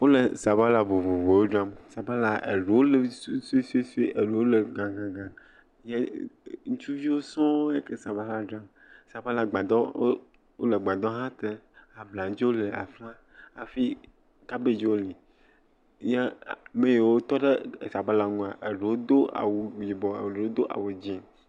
Wole sabala vovovowo dzram. Sabala, eɖewo le suesuesue, eɖewo le gãgãgã, yɛ ŋutsuviwo sɔŋe ke le sabala dzram. Sabalagbadɔ, wole gbadɔ hã te. Abladzo le afi ma hafi kabedziwo li yɛ ame yiwo tɔ ɖe asabala ŋua, eɖewo do awu yibɔ, eɖewo do awu dzɛ̃.